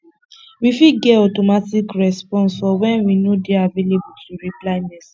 we fit get automatic response for when we no dey available to reply message